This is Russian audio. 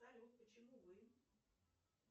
салют почему вы